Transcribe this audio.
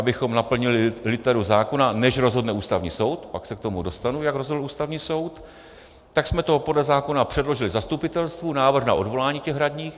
Abychom naplnili literu zákona, než rozhodne Ústavní soud - pak se k tomu dostanu, jak rozhodl Ústavní soud - tak jsme to podle zákona předložili zastupitelstvu, návrh na odvolání těch radních.